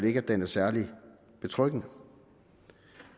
ikke at den er særlig betryggende